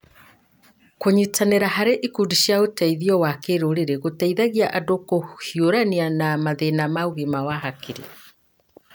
Kũnyitanĩra harĩ ikundi cia ũteithio wa kĩrũrĩrĩ gũteithagia andũ kũhiũrania na mathĩna ma ũgima wa hakiri.